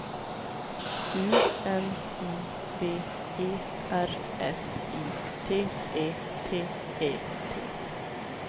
U N I V E R S I T E T E T